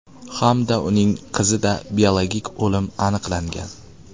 hamda uning qizida biologik o‘lim aniqlangan.